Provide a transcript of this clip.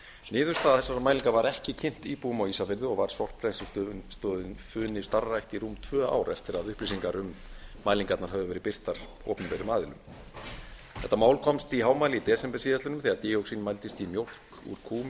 niðurstaða þessara mælinga var ekki kynnt íbúum á ísafirði var sorpbrennslustöðin funi starfrækt í rúm tvö ár eftir að upplýsingar um mælingarnar höfðu verið birtar opinberum aðili þetta mál komst í hámæli í desember síðastliðnum þegar díoxín mældist í mjólk úr kúm í